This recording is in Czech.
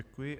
Děkuji.